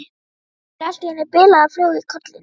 Fær allt í einu bilaða flugu í kollinn.